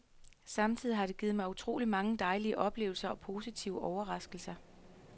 Samtidig har det givet mig utroligt mange dejlige oplevelser og positive overraskelser.